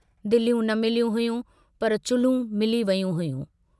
दिलियूं न मिलियूं हुयूं पर चुल्हूं मिली वयूं हुयूं।